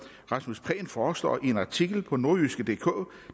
rasmus prehn foreslår i en artikel på nordjyskedk